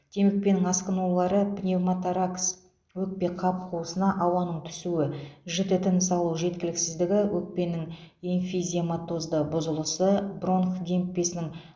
демікпенің асқынулары пневмоторакс өкпеқап қуысына ауаның түсуі жіті тыныс алу жеткіліксіздігі өкпенің эмфизематозды бұзылысы бронх демікпесінің